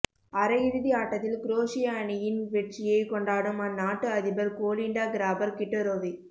அரை இறுதி ஆட்டத்தில் குரோஷிய அணியின் வெற்றியை கொண்டாடும் அந்நாட்டு அதிபர் கோலிண்டா கிராபர் கிட்டரோவிக்